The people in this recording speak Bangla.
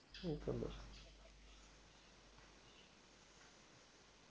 ঠিক আছে